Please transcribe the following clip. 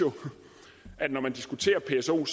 at når man diskuterer pso